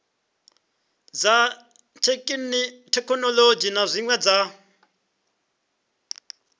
dza thekhinolodzhi na zwine dza